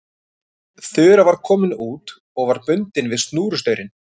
Þura var komin út og var bundin við snúrustaurinn.